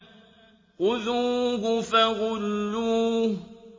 خُذُوهُ فَغُلُّوهُ